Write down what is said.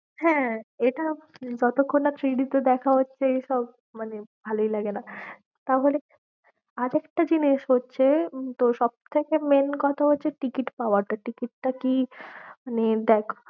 হ্যাঁ, এটা যতক্ষণ না 3D তে দেখা হচ্ছে এইসব মানে ভালোই লাগে না তাহলে আর একটা জিনিস হচ্ছে, তোর সব থেকে main কথা হচ্ছে ticket পাওয়াটা ticket টা কি মানে দেখ।